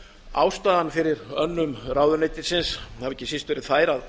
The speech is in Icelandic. ástæðan fyrir önnum ráðuneytisins hefur ekki síst verið sú að